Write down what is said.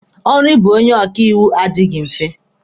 Ọrụ ịbụ onye ọkaiwu adịghị mfe.